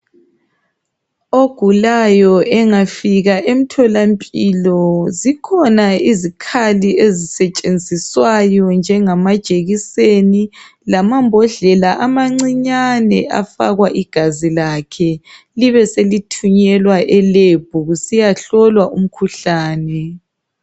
Ogulayo engafika emtholampilo zikhona izikhali ezisetshenziswayo njengamajekiseni lamambodlela amancinyane afakwa igazi lakhe libeselithunyelwa elebhu kusiyahlolwa umkhuhlani.